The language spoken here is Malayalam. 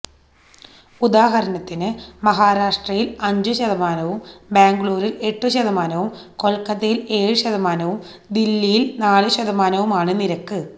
ഉദാഹരണത്തിന് മഹരാഷ്ട്രയില് അഞ്ചു ശതമാനവും ബാംഗ്ലൂരില് എട്ടുശതമാനവും കൊല്ക്കത്തയില് ഏഴ് ശതമാനവും ദില്ലിയില് നാലു ശതമാനവുമാണ് നിരക്ക്